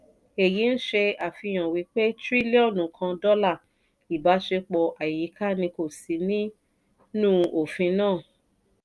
èyí n ṣe àfihàn wípé triliọ̀nù kan dọ́là ìbáṣepọ̀ àyíká ní kò sí ní nù ofin náà.